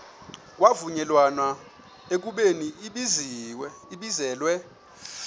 kwavunyelwana ekubeni ibizelwe